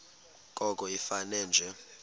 koko ifane nje